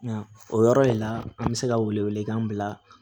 Nka o yɔrɔ de la an bɛ se ka wele wele kan bila